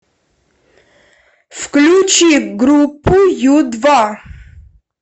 включи группу ю два